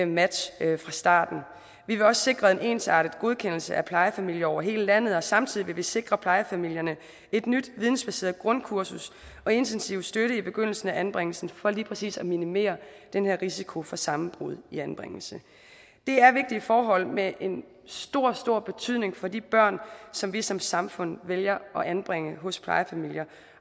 match fra starten vi vil også sikre en ensartet godkendelse af plejefamilier over hele landet og samtidig vil vi sikre plejefamilierne et nyt vidensbaseret grundkursus og intensiv støtte i begyndelsen af anbringelsen for lige præcis at minimere den her risiko for sammenbrud i anbringelsen det er vigtige forhold med en stor stor betydning for de børn som vi som samfund vælger at anbringe hos plejefamilier